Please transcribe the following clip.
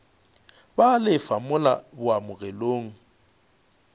ba a lefa mola boamogelong